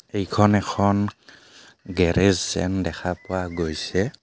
এইখন এখন গেৰেজ যেন দেখা পোৱা গৈছে.